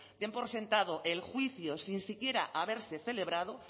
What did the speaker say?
den por sentado el juicio sin siquiera haberse celebrado